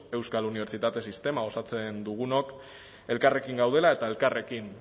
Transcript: euskal unibertsitate sistema osatzen dugunok elkarrekin gaudela eta elkarrekin